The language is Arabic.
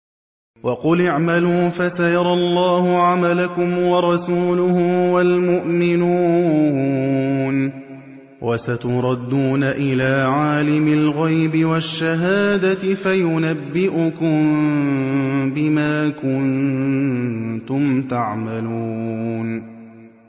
وَقُلِ اعْمَلُوا فَسَيَرَى اللَّهُ عَمَلَكُمْ وَرَسُولُهُ وَالْمُؤْمِنُونَ ۖ وَسَتُرَدُّونَ إِلَىٰ عَالِمِ الْغَيْبِ وَالشَّهَادَةِ فَيُنَبِّئُكُم بِمَا كُنتُمْ تَعْمَلُونَ